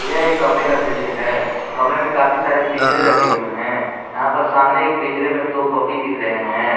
यह कमरे का दृश्य है कमरे में काफी सारे पिंजरे रखे हुए हैं यहां पर सामने पिंजरे में दो पॉपी दिख रहे हैं।